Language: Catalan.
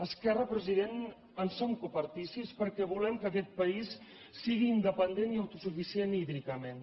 esquerra president en som copartícips perquè volem que aquest país sigui independent i autosuficient hídricament